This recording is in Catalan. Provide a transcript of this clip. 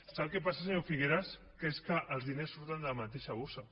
sap què passa senyor figueras que és que els diners surten de la mateixa bossa